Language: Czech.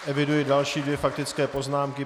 Eviduji další dvě faktické poznámky.